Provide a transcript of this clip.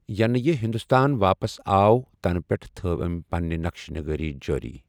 یَنہٕ یہِ ہِنٛدُستان واپس آو تَنہٕ پیٚٹھٕ تٔھو أمہِ پَنٕنہِ نقشہٕ نِگٲری جٲری۔